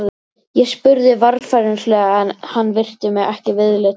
Ég spurði varfærnislega en hann virti mig ekki viðlits.